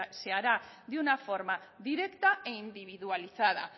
se harán de una forma directa e individualizada